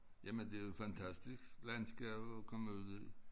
Jamen det jo fantastisk landskab at komme ud i